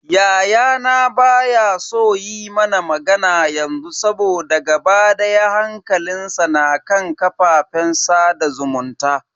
Yayana baya so yi mana magana yanzu saboda gaba daya hankalinsa na kan kafafen sada zumunta.